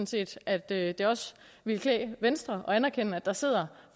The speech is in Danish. set at det det også ville klæde venstre at anerkende at der sidder